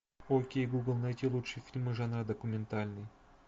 окей гугл найти лучшие фильмы жанра документальный